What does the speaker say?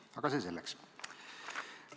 Aga see selleks.